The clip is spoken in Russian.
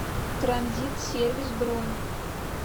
транзит сервис бронь